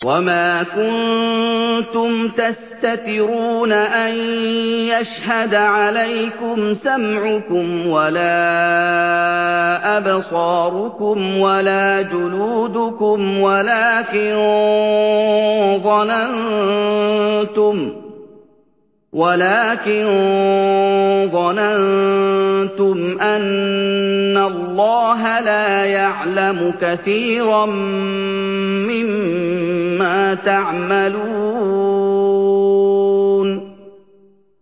وَمَا كُنتُمْ تَسْتَتِرُونَ أَن يَشْهَدَ عَلَيْكُمْ سَمْعُكُمْ وَلَا أَبْصَارُكُمْ وَلَا جُلُودُكُمْ وَلَٰكِن ظَنَنتُمْ أَنَّ اللَّهَ لَا يَعْلَمُ كَثِيرًا مِّمَّا تَعْمَلُونَ